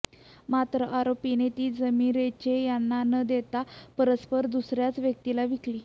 मात्र आरोपीने ती जमिन रेचे यांना न देता परस्पर दुसऱ्याच व्यक्तीला विकली